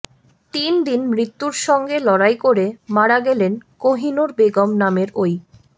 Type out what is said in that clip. তিন দিন মৃত্যুর সঙ্গে লড়াই করে মারা গেলেন কোহিনূর বেগম নামের ওই